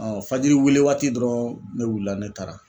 fajiriweele waati dɔrɔn ne wulila ne taara